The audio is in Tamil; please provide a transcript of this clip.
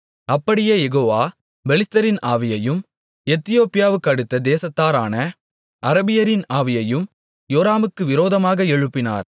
அப்படியே யெகோவா பெலிஸ்தரின் ஆவியையும் எத்தியோப்பியாவுக்கடுத்த தேசத்தாரான அரபியரின் ஆவியையும் யோராமுக்கு விரோதமாக எழுப்பினார்